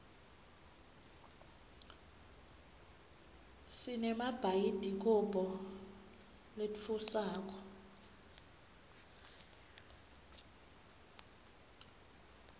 sinemabhayidikobho latfusako